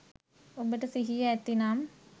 ඔබට සිහිය ඇතිනම්